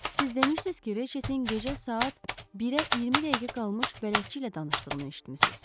Siz demişdiniz ki, Reçetin gecə saat 1-ə 20 dəqiqə qalmış bələdçi ilə danışdığını eşitmişiz.